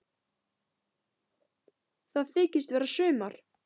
Það þykist vera sumar.